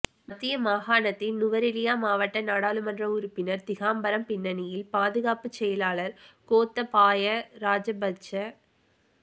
மத்திய மாகாணத்தின் நுவரெலியா மாவட்ட நாடாளுமன்ற உறுப்பினர் திகாம்பரம் பின்னணியில் பாதுகாப்புச் செயலாளர் கோத்தபாய ராஜபக்ஷ